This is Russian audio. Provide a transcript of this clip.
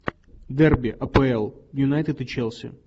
дерби апл юнайтед и челси